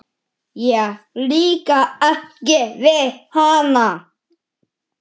Mér líkar ekki við hana.